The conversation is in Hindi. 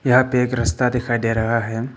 यहां पे एक रस्ता दिखाई दे रहा है।